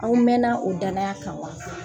Aw mɛna o dayana kan wa ?